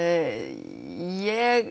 ég